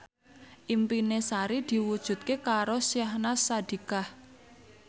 impine Sari diwujudke karo Syahnaz Sadiqah